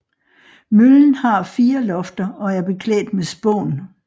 Møllen har fire lofter og er beklædt med spån